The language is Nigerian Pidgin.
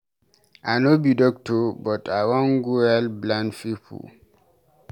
I no be doctor but I wan go help blind people.